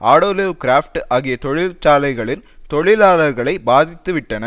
ஆடோலிவ் கிராப்ட் ஆகிய தொழிற்சாலைகளின் தொழிலாளர்களை பாதித்து விட்டன